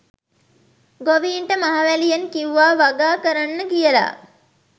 ගොවීන්ට මහවැලියෙන් කිව්වා වගා කරන්න කියලා.